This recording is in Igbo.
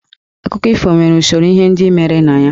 Akụkọ ifo nwere usoro ihe ndị mere na ya.